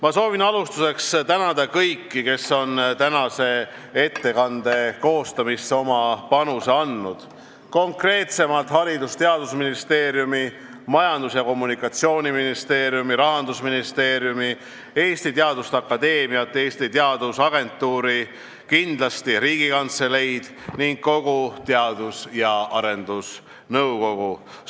Ma soovin alustuseks tänada kõiki, kes on tänase ettekande koostamisse oma panuse andnud, konkreetsemalt Haridus- ja Teadusministeeriumi, Majandus- ja Kommunikatsiooniministeeriumi, Rahandusministeeriumi, Eesti Teaduste Akadeemiat, Eesti Teadusagentuuri, kindlasti Riigikantseleid ning kogu Teadus- ja Arendusnõukogu.